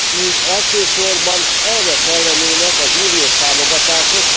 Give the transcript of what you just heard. Így elsősorban erre kellenének az uniós támogatások.